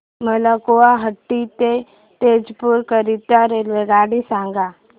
मला गुवाहाटी ते तेजपुर करीता रेल्वेगाडी सांगा